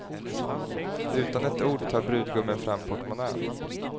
Utan ett ord tar brudgummen fram portmonnän.